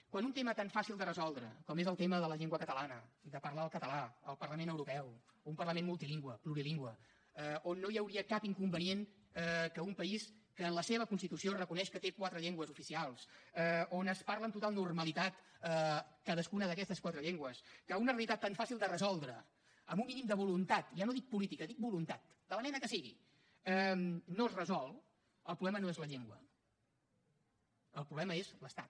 quan un tema tan fàcil de resoldre com és el tema de la llengua catalana de parlar el català al parlament europeu un parlament multilingüe plurilingüe on no hi hauria cap inconvenient que un país que en la seva constitució reconeix que té quatre llengües oficials on es parlen amb total normalitat cadascuna d’aquestes quatre llengües que una realitat tan fàcil de resoldre amb un mínim de voluntat ja no dic política dic voluntat de la mena que sigui no es resol el problema no és la llengua el problema és l’estat